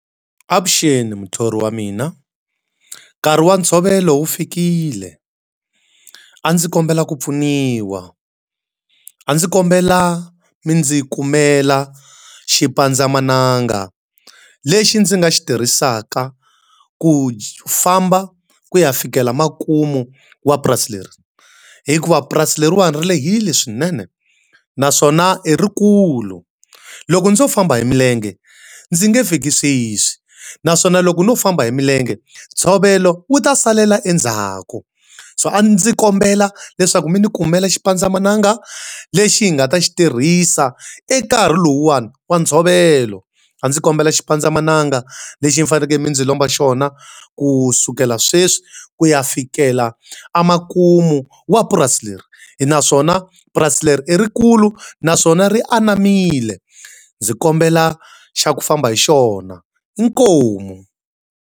Avuxeni muthori wa mina. Nkarhi wa ntshovelo wu fikile. A ndzi kombela ku pfuniwa. A ndzi kombela mi ndzi kumela xipandzamananga lexi ndzi nga xi tirhisaka ku famba ku ya fikela makumu wa purasi leri. Hikuva purasi leriwani ri lehile swinene, naswona i rikulu. Loko ndzo famba hi milenge ndzi nge fiki sweswi naswona loko no famba hi milenge, ntshovelo wu ta salela endzhaku. So a ndzi kombela leswaku mi ndzi kumela xipandzamananga lexi hi nga ta xi tirhisa eka nkarhi lowuwani wa ntshovelo. A ndzi kombela xipandzamananga lexi mi fanekele mi ndzi lomba xona kusukela sweswi ku ya fikela emakumu wa purasi leri. Naswona purasi leri i rikulu naswona ri anamile. Ndzi kombela xa ku famba hi xona, Inkomu.